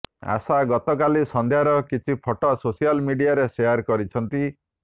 ଆଶା ଗତକାଲି ସନ୍ଧ୍ୟାର କିଛି ଫଟୋ ସୋସିଆଲ ମିଡିଆରେ ସେୟାର କରିଛନ୍ତି